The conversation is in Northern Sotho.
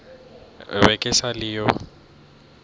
be ke sa le yo